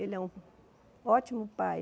Ele é um ótimo pai.